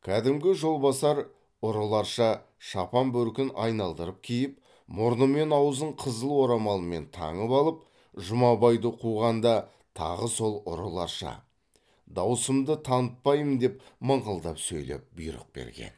кәдімгі жолбасар ұрыларша шапан бөркін айналдырып киіп мұрны мен аузын қызыл орамалмен таңып алып жұмабайды қуғанда тағы сол ұрыларша даусымды танытпаймын деп мыңқылдап сөйлеп бұйрық берген